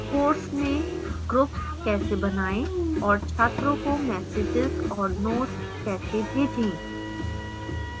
courses में groups कैसे बनाएं और छात्रों को messages और notes कैसे भेजें